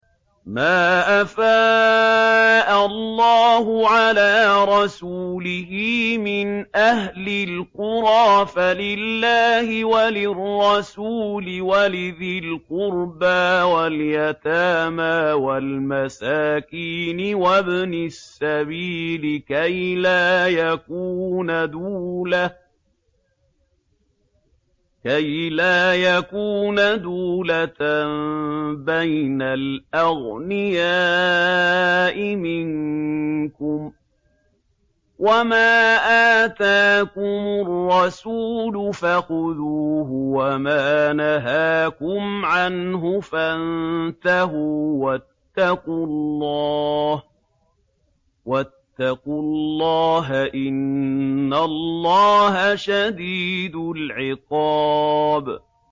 مَّا أَفَاءَ اللَّهُ عَلَىٰ رَسُولِهِ مِنْ أَهْلِ الْقُرَىٰ فَلِلَّهِ وَلِلرَّسُولِ وَلِذِي الْقُرْبَىٰ وَالْيَتَامَىٰ وَالْمَسَاكِينِ وَابْنِ السَّبِيلِ كَيْ لَا يَكُونَ دُولَةً بَيْنَ الْأَغْنِيَاءِ مِنكُمْ ۚ وَمَا آتَاكُمُ الرَّسُولُ فَخُذُوهُ وَمَا نَهَاكُمْ عَنْهُ فَانتَهُوا ۚ وَاتَّقُوا اللَّهَ ۖ إِنَّ اللَّهَ شَدِيدُ الْعِقَابِ